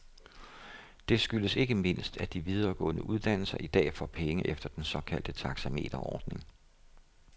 Det skyldes ikke mindst, at de videregående uddannelser i dag får penge efter den såkaldte taxameterordning.